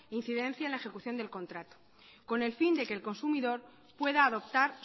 incidencia la ejecución del contrato con el fin de que el consumidor pueda adoptar